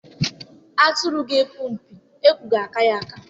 Atụrụ ga-epu mpi, ekwo ga-aka ya aka